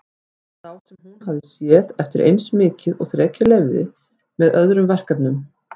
Sá sem hún hafði séð eftir eins mikið og þrekið leyfði, með öðrum verkefnum.